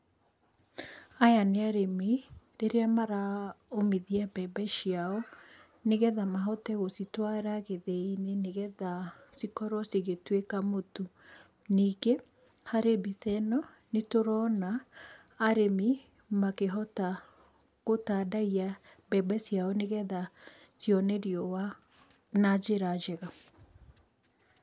Aya nĩ arĩmi rĩrĩa maraũmithia mbembe ciao, nĩgetha mahote gũcitwara gĩthĩi-inĩ, nĩgetha cikorwo cigĩtũĩka mũtu. Ningĩ harĩ mbica ĩno, nĩtũrona arĩmi makĩhota gũtandayia mbembe ciao, nĩgetha cione riũa na njĩra njega.